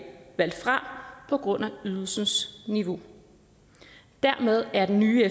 valgt fra på grund af ydelsens niveau dermed er den nye